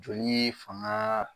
Jɔlii faŋaa